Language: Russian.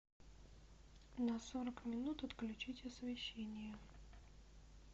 на сорок минут отключить освещение